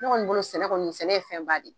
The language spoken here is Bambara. Ne kɔni bolo sɛnɛ kɔni, sɛnɛ ye fɛn ba de ye.